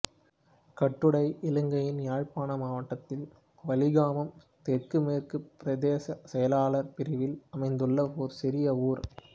கட்டுடை இலங்கையின் யாழ்ப்பாண மாவட்டத்தில் வலிகாமம் தென்மேற்குப் பிரதேச செயளாளர் பிரிவில் அமைந்துள்ள ஒரு சிறிய ஊர்